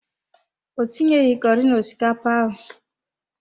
Ọ tinyeghị curi na osikapa ahụ.